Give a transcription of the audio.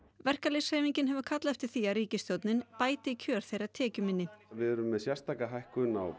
verkalýðshreyfingin hefur kallað eftir því að ríkisstjórnin bæti kjör þeirra tekjuminni við erum með sérstaka hækkun á